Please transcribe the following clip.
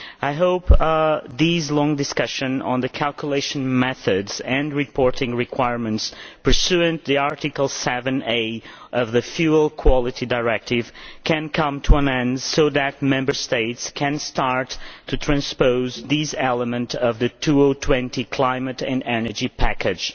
I hope this long discussion on the calculation methods and reporting requirements pursuant to Article 7a of the Fuel Quality Directive can come to an end so that Member States can start to transpose these elements of the 2020 climate and energy package.